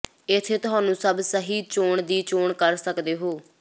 ਇੱਥੇ ਤੁਹਾਨੂੰ ਸਭ ਸਹੀ ਚੋਣ ਦੀ ਚੋਣ ਕਰ ਸਕਦੇ ਹੋ